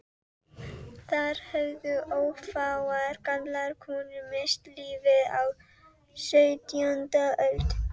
Þar höfðu ófáar gamlar konur misst lífið á sautjándu öld.